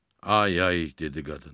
Ay ay, dedi qadın.